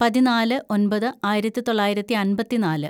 പതിനാല് ഒന്‍പത് ആയിരത്തിതൊള്ളായിരത്തി അമ്പത്തിന്നാല്‌